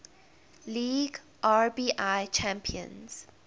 league rbi champions